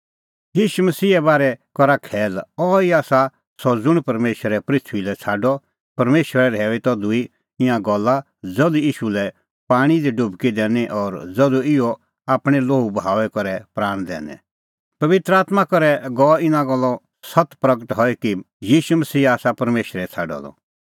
ईशू मसीहे बारै करा खैल अहैई आसा सह ज़ुंण परमेशरै पृथूई लै छ़ाडअ परमेशरै रहैऊई तधू ईंयां गल्ला ज़धू ईशू लै पाणीं दी डुबकी दैनी और ज़धू ईशू आपणैं लोहू बहाऊई करै प्राण दैनै पबित्र आत्मां करै गअ इना गल्लो सत्त प्रगट हई कि ईशू मसीहा आसा परमेशरै छ़ाडअ द